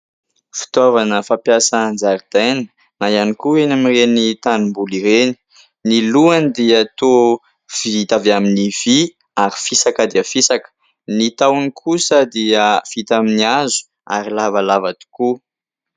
Fitaovana fampiasana an-jaridaina na ihany koa eny amin'ireny tanimboly ireny. Ny lohany dia toa vita avy amin'ny vy ary fisaka dia fisaka. Ny tahony kosa dia vita amin'ny hazo ary lavalava tokoa.